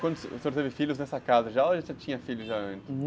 Quando, o senhor teve filhos nessa casa já, ou já tinha filhos já antes?